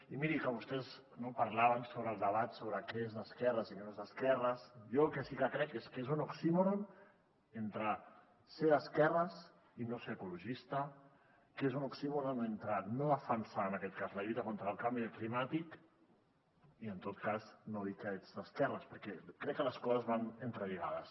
i mirin que vostès parlaven sobre el debat sobre què és d’esquerres i què no és d’esquerres jo el que sí que crec és que és un oxímoron entre ser d’esquerres i no ser ecologista que és un oxímoron entre no defensar en aquest cas la lluita contra el canvi climàtic i en tot cas no dir que ets d’esquerres perquè crec que les coses van entrelligades